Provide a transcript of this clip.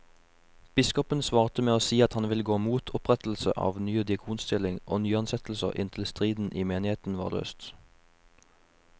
Biskopen svarte med å si at han ville gå mot opprettelse av ny diakonstilling og nyansettelser inntil striden i menigheten var løst.